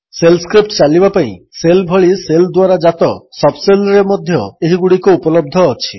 shell script ଚାଲିବା ପାଇଁ shell ଭଳି ଶେଲ୍ ଦ୍ୱାରା ଜାତ ସବ୍ ଶେଲ୍ରେ ମଧ୍ୟ ଏହିଗୁଡ଼ିକ ଉପଲବ୍ଧ ଅଛି